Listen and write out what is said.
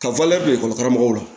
Ka ekɔli karamɔgɔw la